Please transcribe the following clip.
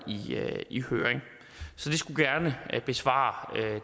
i høring så det skulle gerne besvare